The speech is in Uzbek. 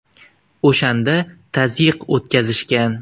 O‘shanda tazyiq o‘tkazishgan.